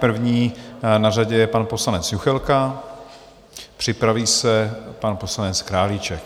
První na řadě je pan poslanec Juchelka, připraví se pan poslanec Králíček.